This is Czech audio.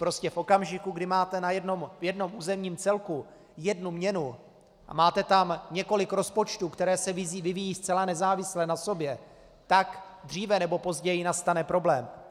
Prostě v okamžiku, kdy máte v jednom územním celku jednu měnu a máte tam několik rozpočtů, které se vyvíjejí zcela nezávisle na sobě, tak dříve nebo později nastane problém.